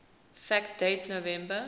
fact date november